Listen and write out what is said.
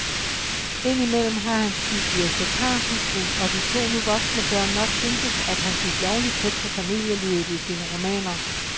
Ind imellem har hans bibliotekarhustru og de to nu voksne børn nok syntes, at han gik lovlig tæt på familielivet i sine romaner.